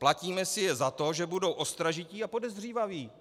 Platíme si je za to, že budou ostražití a podezřívaví.